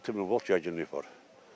Orda 6000 volt gərginlik var.